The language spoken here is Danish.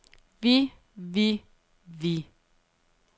vi vi vi